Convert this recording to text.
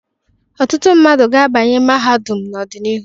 Ọtụtụ mmadụ ga-abanye mahadum n'ọdịnihu.